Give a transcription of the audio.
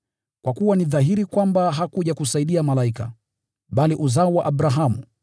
Kwa kuwa ni dhahiri kwamba hakuja kusaidia malaika, bali uzao wa Abrahamu.